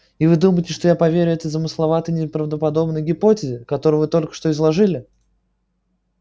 и вы думаете что я поверю такой замысловатой неправдоподобной гипотезе которую вы только что изложили